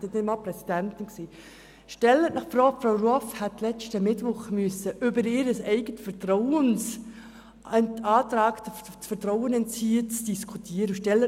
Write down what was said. Stellen Sie sich vor, Frau Ruoff hätte letzten Mittwoch über den Antrag, ihr selbst das Vertrauen zu entziehen, diskutieren dürfen.